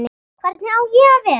Hvernig á ég að vera?